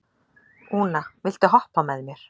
Úna, viltu hoppa með mér?